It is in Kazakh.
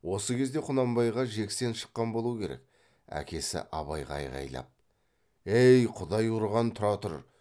осы кезде құнанбайға жексен шаққан болу керек әкесі абайға айғайлап ей құдай ұрған тұра тұр